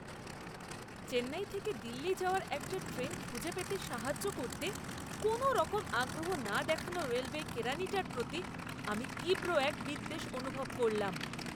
চেন্নাই থেকে দিল্লি যাওয়ার একটা ট্রেন খুঁজে পেতে সাহায্য করতে কোনওরকম আগ্রহ না দেখানো রেলওয়ে কেরানিটার প্রতি আমি তীব্র এক বিদ্বেষ অনুভব করলাম।